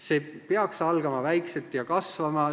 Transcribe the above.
See peaks algama väikselt ja kasvama.